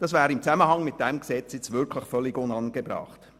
Das wäre im Zusammenhang mit diesem Gesetz wirklich völlig unangebracht.